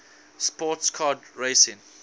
sports car racing